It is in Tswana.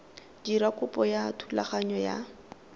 dira kopo ya thulaganyo ya